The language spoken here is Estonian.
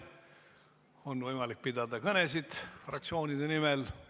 On võimalik pidada kõnesid fraktsioonide nimel.